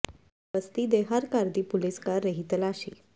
ਬਸਤੀ ਦੇ ਹਰ ਘਰ ਦੀ ਪੁਲਸ ਕਰ ਰਹੀ ਤਲਾਸ਼ੀ